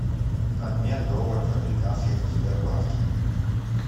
обмен долларов американских в сбербанке